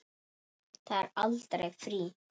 Það er aldrei frí.